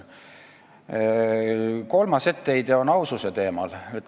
Kolmas etteheide on aususe teemal.